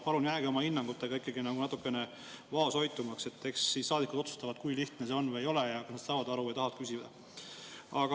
Palun jääge oma hinnangutega ikkagi natukene vaoshoitumaks, eks saadikud otsustavad, kui lihtne see on või ei ole ja kas nad saavad aru ja tahavad küsida.